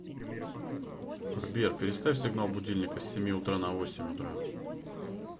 сбер переставь сигнал будильника с семи утра на восемь утра